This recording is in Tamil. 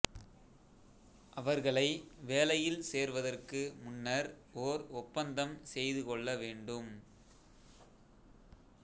அவர்களை வேலையில் சேர்வதற்கு முன்னர் ஓர் ஒப்பந்தம் செய்து கொள்ள வேண்டும்